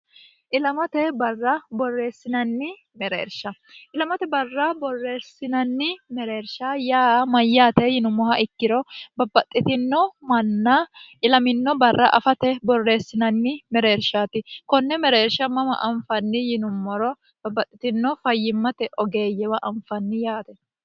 ilamate barra borreessinnni mereersha ilamote barra borreersinanni mereersha yaa mayyaate yinummoha ikkiro babbaxxitino manna ilaminno barra afate borreessinanni mereershaati konne mereersha mama anfanni yinummoro babbaxxitinno fayyimmate ogeeyyewa anfanni yaate.